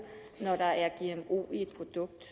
når der er gmo i et produkt